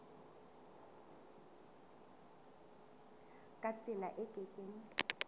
ka tsela e ke keng